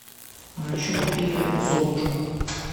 а еще купи золушку